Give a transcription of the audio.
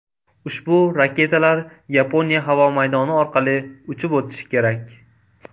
Ushbu raketalar Yaponiya havo maydoni orqali uchib o‘tishi kerak.